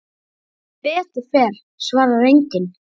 Sem betur fer svarar enginn.